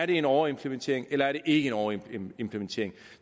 det er en overimplementering eller er en overimplementering